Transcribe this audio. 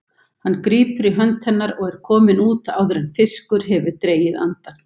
Hann grípur í hönd hennar og er kominn út áður en fiskur hefur dregið andann.